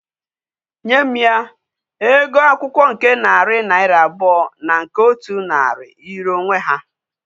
Nye m ya! Ego akwukwo nke nari naira abuo na nke otu nari yiri onwe ha